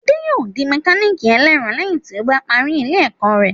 Adé yòó di mẹkálíkì ẹlẹ́ẹ̀rọ lẹ́yìn tí ó bá parí ilé ẹ̀kọ́